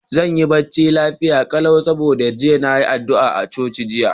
Zan yi barci lafia yau, dan na yi addu'a daga coci jiya.